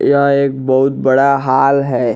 यह एक बहुत बड़ा हॉल है।